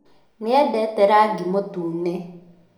Nĩedete rangĩ mũtũne.